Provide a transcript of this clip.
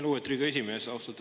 Lugupeetud Riigikogu esimees!